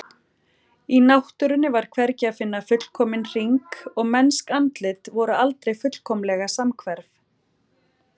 Í náttúrunni var hvergi að finna fullkominn hring og mennsk andlit voru aldrei fullkomlega samhverf.